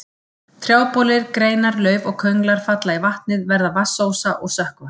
Trjábolir, greinar, lauf og könglar falla í vatnið, verða vatnsósa og sökkva.